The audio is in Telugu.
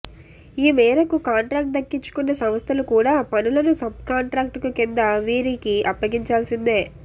ఈ మేరకు కాంట్రాక్టు దక్కించుకున్న సంస్థలు కూడా పనులను సబ్కాంట్రాక్టు కింద వీరికి అప్పగించాల్సిందే